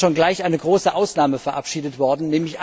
Da ist schon gleich eine große Ausnahme verabschiedet worden.